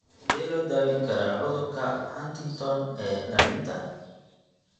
Sidee loo daweyn karaa cudurka Huntington ee dhallinta (HD)?